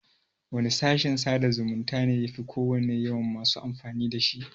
Wane fashin sada zumunta ne yafi kowanne yawan masu amfani da shi?